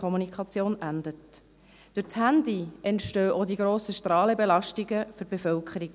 Durch das Handy entstehen auch die grossen Strahlenbelastungen für die Bevölkerung.